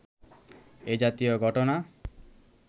এ জাতীয় ঘটনা